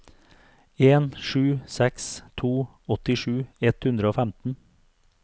en sju seks to åttisju ett hundre og femten